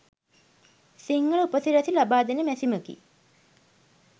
සිංහල උපසිරැසි ලබාදෙන මැසිමකි.